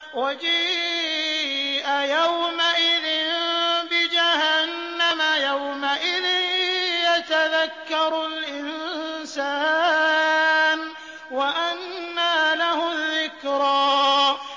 وَجِيءَ يَوْمَئِذٍ بِجَهَنَّمَ ۚ يَوْمَئِذٍ يَتَذَكَّرُ الْإِنسَانُ وَأَنَّىٰ لَهُ الذِّكْرَىٰ